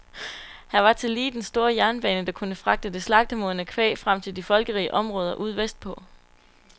Her var tillige den store jernbane, der kunne fragte det slagtemodne kvæg frem til de folkerige områder ude vestpå.